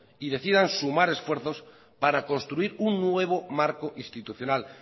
y decidan sumar esfuerzos para construir un nuevo marco institucional